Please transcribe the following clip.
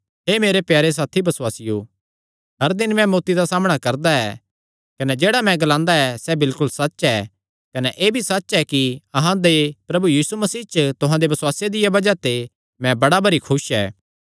हे मेरे प्यारे साथी बसुआसियो हर दिन मैं मौत्ती दा सामणा करदा ऐ कने जेह्ड़ा मैं ग्लादा ऐ सैह़ बिलकुल सच्च ऐ कने एह़ भी सच्च ऐ कि अहां दे प्रभु यीशु मसीह च तुहां दे बसुआसे दिया बज़ाह ते मैं बड़ा भरी खुस ऐ